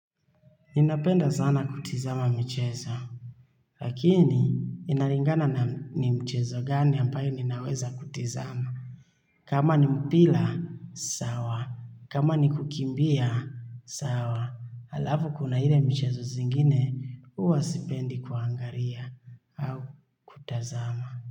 Ninapenda sana kutizama michezo. Lakini, inalingana na ni mchezo gani ambayo ninaweza kutizama. Kama ni mpira, sawa. Kama ni kukimbia, sawa. Halafu kuna ile michezo zingine, uwa sipendi kuangaria au kutazama.